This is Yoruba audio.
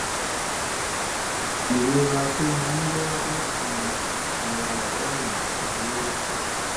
ìrora tó máa ń wá láti ara ọ̀rá ẹyin máa ń wọ́pọ̀